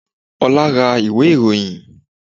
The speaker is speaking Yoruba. Olá ra ìwé ìròyìn